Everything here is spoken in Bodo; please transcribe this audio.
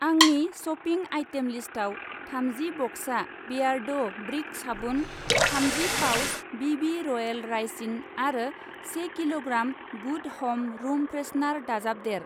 आंनि शपिं आइटेम लिस्टाव थामजि बक्सा बेयारड' ब्रिक साबुन, थामजि पाउच बिबि रयेल रायसिन आरो से किल'ग्राम गुड हम रुम फ्रेशनर दाजाबदेर।